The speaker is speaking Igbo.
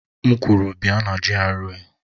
M kwuru, bia na GRA!